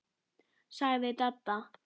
sagði Dadda.